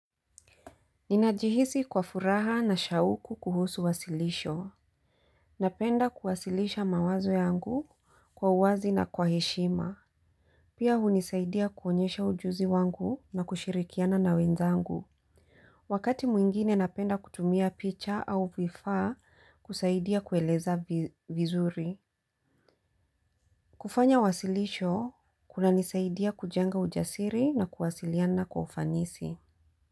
Ninajihisi kwa furaha na shauku kuhusu wasilisho. Napenda kuwasilisha mawazo yangu kwa uwazi na kwa heshima. Pia hunisaidia kuonyesha ujuzi wangu na kushirikiana na wenzangu. Wakati mwingine napenda kutumia picha au vifaa kusaidia kueleza vizuri. Kufanya wasilisho kunanisaidia kujenga ujasiri na kuwasiliana kwa ufanisi.